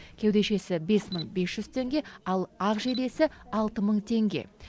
кеудешесі бес мың бес жүз теңге ал ақ жейдесі алты мың теңге